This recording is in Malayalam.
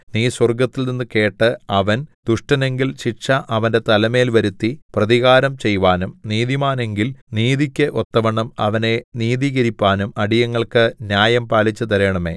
നീ സ്വർഗ്ഗത്തിൽനിന്ന് കേട്ട് അവൻ ദുഷ്ടനെങ്കിൽ ശിക്ഷ അവന്റെ തലമേൽ വരുത്തി പ്രതികാരം ചെയ്‌വാനും നീതിമാനെങ്കിൽ നീതിക്കു ഒത്തവണ്ണം അവനെ നീതീകരിപ്പാനും അടിയങ്ങൾക്കു ന്യായം പാലിച്ചുതരേണമേ